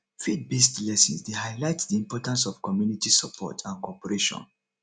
faithbased lessons dey highlight the importance of community support and cooperation